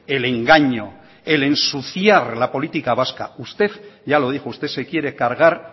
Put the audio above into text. el engaño el ensuciar la política vasca usted ya lo dijo usted se quiere cargar